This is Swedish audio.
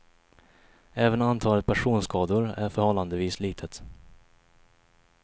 Även antalet personskador är förhållandevis litet.